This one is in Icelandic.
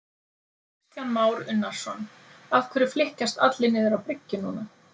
Kristján Már Unnarsson: Af hverju flykkjast allir niður á bryggju núna?